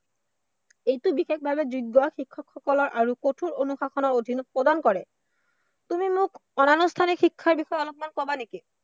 এইটো বিশেষভৱে যোগ্য় শিক্ষকসকলৰ আৰু কঠোৰ অনুশাসনৰ অধীনত প্ৰদান কৰে। তুমি মোক অনানুষ্ঠানিক শিক্ষাৰ বিষয়ে অলপমান কবা নিকি?